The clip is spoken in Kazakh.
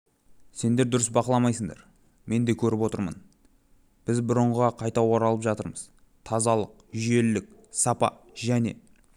сендер дұрыс бақыламайсыңдар мен де көріп отырмын біз бұрынғыға қайта оралып жатырмыз тазалық жүйелілік сапа және